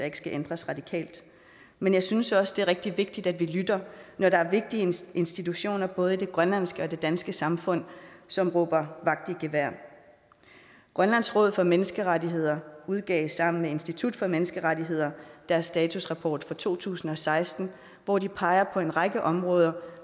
ikke skal ændres radikalt men jeg synes også det er rigtig vigtigt at vi lytter når der er vigtige institutioner i både det grønlandske og det danske samfund som råber vagt i gevær grønlands råd for menneskerettigheder udgav sammen med institut for menneskerettigheder deres statusrapport for to tusind og seksten hvor de peger på en række områder